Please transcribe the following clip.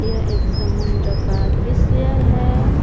यह एक समुन्द्र का दृश्य है।